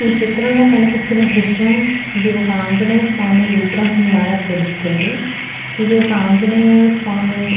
ఈ చిత్రం లో కనిపిస్తున్న దృశ్యం ఇది ఒక ఆంజనేయ స్వామి విగ్రహం లాగా తెలుస్తుంది. ఇది ఒక ఆంజనేయ స్వామి --